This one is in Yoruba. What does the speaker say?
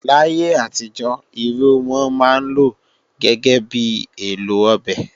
Láyé àtijọ́, irú wọ́n máa ń lọ gẹ́gẹ́ bi èlò ọbẹ̀